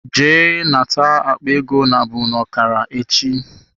Jee nata akpa ego nabụ n'okara echi.